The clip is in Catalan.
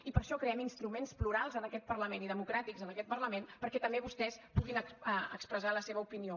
i per això creem instruments plurals en aquest parlament i democràtics en aquest parlament perquè també vostès puguin expressar la seva opinió